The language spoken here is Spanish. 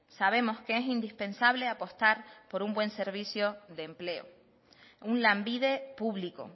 sabemos que es indispensable apostar por un buen servicio de empleo un lanbide público